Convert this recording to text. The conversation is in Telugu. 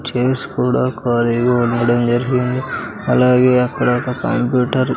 చైర్స్ కూడా ఖాళీగా ఉండడం జరిగింది అలాగే అక్కడ ఒక కంప్యూటర్ .